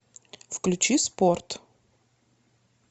включи спорт